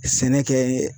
Sɛnɛ kɛ